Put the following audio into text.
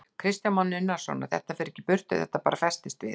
Kristján Már Unnarsson: Og þetta fer ekkert í burtu, þetta bara festist við?